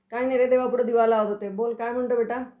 काय नाही रे. देवापुढं दिवा लावत होते.बोल, काय म्हणतोयस बेटा?